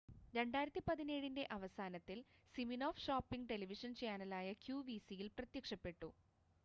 2017-ൻ്റെ അവസാനത്തിൽ Siminoff shopping television ചാനലായ ക്യുവിസിയിൽ പ്രത്യക്ഷപ്പെട്ടു